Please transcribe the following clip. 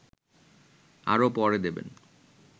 আরও পরে দেবেন